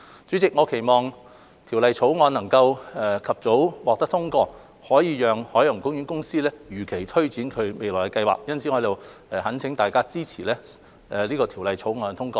主席，我期望《條例草案》能及早獲得通過，可以讓海洋公園公司如期推展未來計劃，因此我在此懇請大家支持《條例草案》的通過。